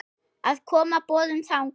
að koma boðum þangað.